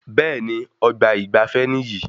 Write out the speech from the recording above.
Bẹẹni, ọgbà ìgbafé níyì